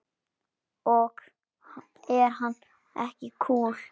Ok, er hann ekki kúl?